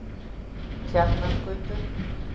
Tjarnargötu